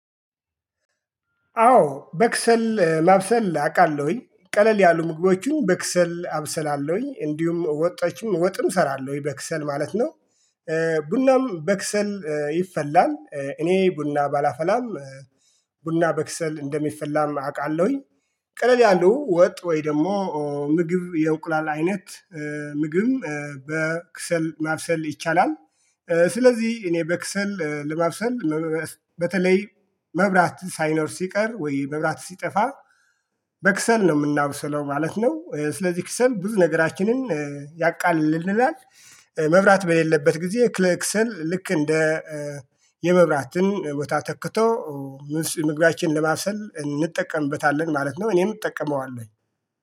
አዎ በክሰል ማብሰል አቃለሁኝ ቀለል ያሉ ምግቦችን በክሰል አብሰላለሁኝ እንዲሁም ወጦችም ወጥም እሰራለሁኝ በክሰል ማለት ነው። ቡናም በክሰል ይፈላል እኔ ቡና ባላፈላም። ቡና በክሰል እንደሚፈላም አውቃለሁኝ። ቀለል ያለው ወጥ ወይ? ደግሞ ምግብ የእንቁላል አይነት ምግብ በክሰል ማብሰል ይቻላል። ስለዚህ እኔ በክሰል ለማብሰል በተለይ መብራት ሳይኖር ሲቀር ወይ መብራት ሲጠፋ በክሰል ነው የምናብሰለው ማለት ነው። ስለዚህ ክሰል ብዙ ነገራችንን ያቃልልናል። መብራት በሌለበት ጊዜ ክለክሰል ልክ እንደ የመብራትን ቦታ ተክቶ ምግባችንን ለማብሰል እንጠቀምበታለን ማለት ነው። እኔን እጠቀመዋለሁ